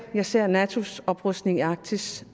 jeg ser natos oprustning i arktis